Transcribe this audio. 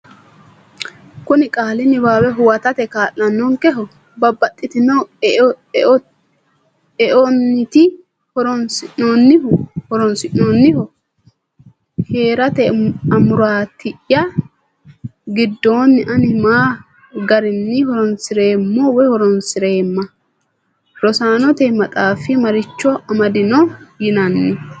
Kuni qaali niwaawe huwatate kaa’lannonkeho? Babbaxxitino eonniiti horonsi’noonnihu? Hee’rate amuraati’ya giddoonni ani ma garinni horonsi’reemmo/a? Rosaanote Maxaafi Maricho Amadanno yinaani?